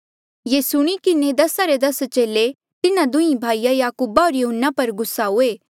ये सुणी किन्हें दसा रे दस चेले तिन्हा दुंहीं भाईया याकूब होर यहून्ना पर गुस्सा हुए